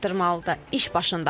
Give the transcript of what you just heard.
İş başındadır.